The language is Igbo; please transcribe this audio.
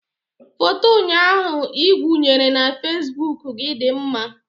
Foto ụnyaahụ ị wụnyere na facebook gị dị mma